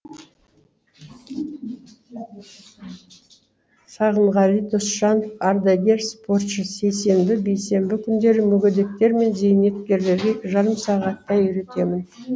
сағынғали досжанов ардагер спортшы сейсенбі бейсенбі күндері мүгедектер мен зейнеткерлерге жарым сағаттай үйретемін